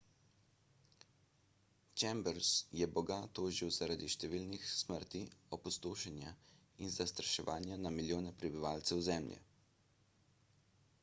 chambers je boga tožil zaradi številnih smrti opustošenja in zastraševanja na milijone prebivalcev zemlje